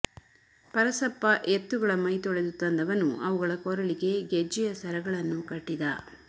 ಪರಸಪ್ಪ ಎತ್ತುಗಳ ಮೈತೊಳೆದು ತಂದವನು ಅವುಗಳ ಕೊರಳಿಗೆ ಗೆಜ್ಜೆಯ ಸರಗಳನ್ನು ಕಟ್ಟಿದ